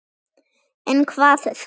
En hvað þá?